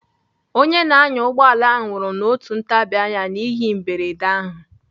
Onye na-anya ụgbọala ahụ nwụrụ n'otu ntabianya n'ihe mberede ahụ.